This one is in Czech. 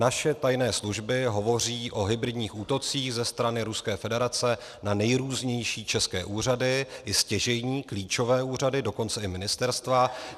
Naše tajné služby hovoří o hybridních útocích ze strany Ruské federace na nejrůznější české úřady, i stěžejní klíčové úřady, dokonce i ministerstva.